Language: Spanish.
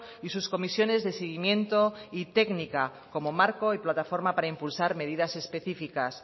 y sus comisiones de seguimiento y técnica como marco y plataforma para impulsar medidas específicas